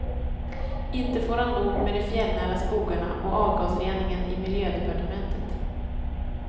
Inte får han nog med de fjällnära skogarna och avgasreningen i miljödepartementet.